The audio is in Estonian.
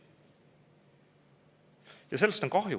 Ja sellest on kahju.